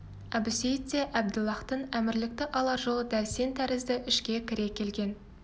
әбусейіт те әбділлахтан әмірлікті алар жолы дәл сен тәрізді ішке кіре келген